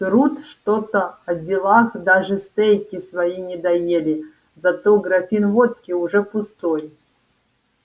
трут что-то о делах даже стейки свои не доели зато графин водки уже пустой